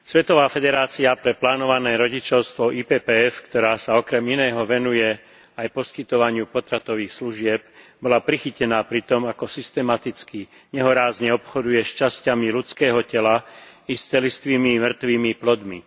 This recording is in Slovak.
Svetová federácia pre plánované rodičovstvo IPPF, ktorá sa okrem iného venuje aj poskytovaniu potratových služieb, bola prichytená pri tom, ako systematicky, nehorázne obchoduje s časťami ľudského tela i s celistvými mŕtvymi plodmi.